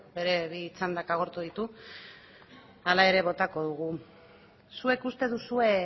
bere bi txandak agortu ditu hala ere botako dugu zuek uste duzue